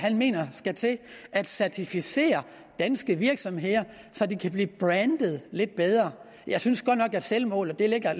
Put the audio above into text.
mener skal til at certificere danske virksomheder så de kan blive brandet lidt bedre jeg synes godt nok at selvmålet ligger